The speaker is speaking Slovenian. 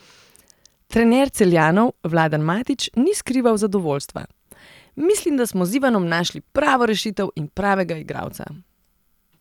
Trener Celjanov Vladan Matić ni skrival zadovoljstva: "Mislim, da smo z Ivanom našli pravo rešitev in pravega igralca.